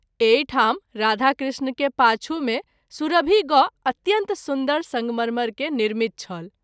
एहि ठाम राधा कृष्ण के पाछू मे सुरभि गौ अत्यन्त सुन्दर संगमरमर के निर्मित छल।